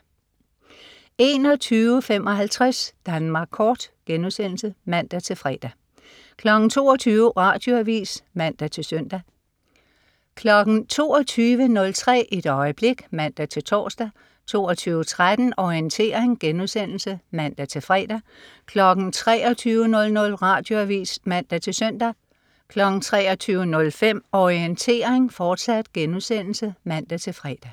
21.55 Danmark Kort* (man-fre) 22.00 Radioavis (man-søn) 22.03 Et øjeblik (man-tors) 22.13 Orientering* (man-fre) 23.00 Radioavis (man-søn) 23.05 Orientering, fortsat* (man-fre)